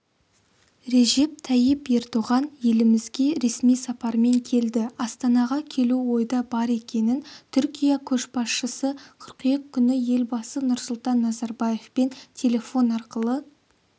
режеп тайип ердоған елімізге ресми сапармен келді астанаға келу ойда бар екенін түркия көшбасшысы қыркүйек күні елбасы нұрсұлтан назарбаевпен телефон арқылы